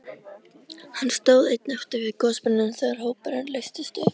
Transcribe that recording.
Hann stóð einn eftir við gosbrunninn þegar hópurinn leystist upp.